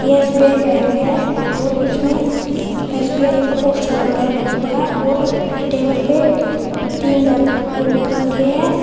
ये SBI bank है और इसमें एस_बी_आई का पोस्टर लग रहा है बहुत बड़ा और टेबल पे तीन लैपटॉप रखे है।